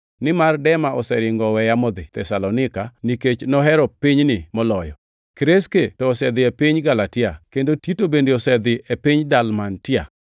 nimar Dema oseringo oweya modhi Thesalonika nikech nohero pinyni moloyo. Kreske to osedhi e piny Galatia, kendo Tito bende osedhi e piny Dalmatia.